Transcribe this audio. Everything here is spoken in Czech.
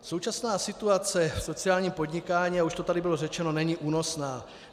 Současná situace v sociálním podnikání, a už to tady bylo řečeno, není únosná.